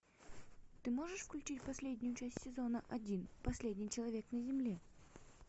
ты можешь включить последнюю часть сезона один последний человек на земле